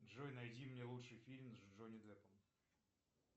джой найди мне лучший фильм с джонни деппом